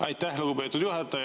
Aitäh, lugupeetud juhataja!